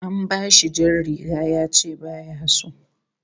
An bashi jar riga yace baya so